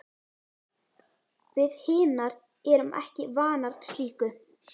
Við hinar erum ekki vanar slíku.